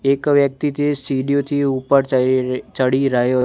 એક વ્યક્તિ તે સીડીઓથી ઉપર ચડી ચડી રહ્યો--